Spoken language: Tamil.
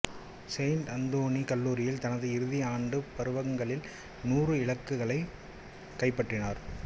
செயின்ட் அந்தோனி கல்லூரியில் தனது இறுதி இரண்டு பருவகங்களில் நூறு இலக்குகளைக் கைப்பற்றினார்